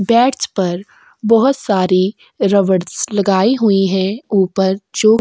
bats पर बहुत सारी रबड़स लगाई हुई है ऊपर जो--